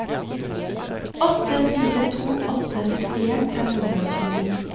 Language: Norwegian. åtte fire to åtte sekstien fem hundre og tjueni